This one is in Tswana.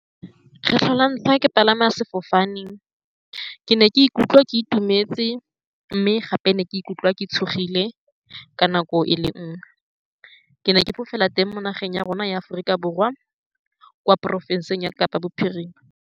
Kgetlho la ntlha ke palama sefofaneng, ke ne ke ikutlwa ke itumetse, mme gape ke ne ke ikutlwa ke tshogile ka nako e le nngwe. Ke ne ke fofela teng mo nageng ya rona ya Aforika Borwa, kwa porofenseng ya Kapa Bophirima.